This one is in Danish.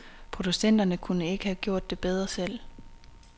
Producenterne kunne ikke have gjort det bedre selv.